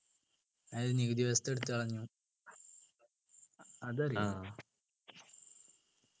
അതായത് നികുതി വ്യവസ്ഥ എടുത്തു കളഞ്ഞു അതറിയോ